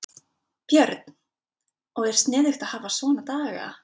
Björn: Og er sniðugt að hafa svona daga?